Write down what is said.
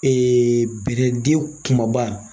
bide den kumaba.